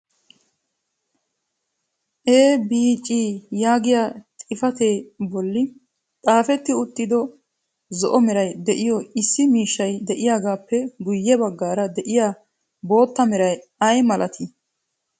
"EBC" yaagiya xifatee a bolli xaafeti uttido zo'o meray de'iyo issi miishshay de'iyaagappe guyye baggaara de'iya bootta meray ay malati?